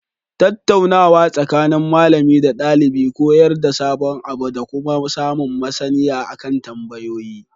Tattaunawa tsakanin malami da ɗalibi koyar da sabon abu dakuma samun maSaniya akan tambayoyi